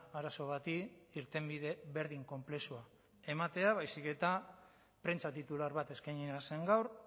arazo bati irtenbide berdin konplexua ematea baizik eta prentsa titular bat eskainia zen gaur